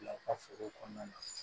Bila u ka foro kɔnɔna na